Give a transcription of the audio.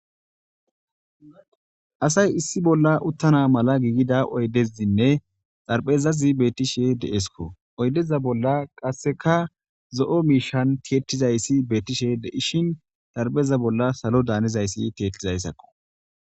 asay issi bolla uttana mala giigida oydezinne xarpeza zibetishe deesko oydeza bolla qasseka zo7o miishan tiyettizayssi beettishe deishin xarbeza bolla salo daanizayssi tiyettizayssakko